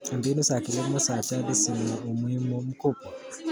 Mbinu za kilimo za jadi zina umuhimu mkubwa.